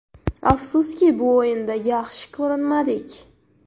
Afsuski, bu o‘yinda yaxshi ko‘rinmadik.